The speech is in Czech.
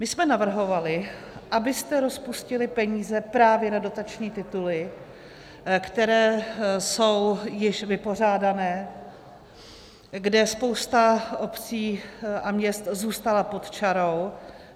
My jsme navrhovali, abyste rozpustili peníze právě na dotační tituly, které jsou již vypořádány, kde spousta obcí a měst zůstala pod čarou.